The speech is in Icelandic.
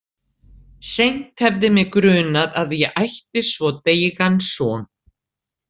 Seint hefði mig grunað að ég ætti svo deigan son.